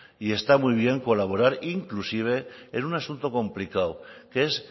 y está muy bien colaborar inclusive en un asunto complicado que es